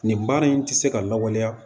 Nin baara in tɛ se ka lawaleya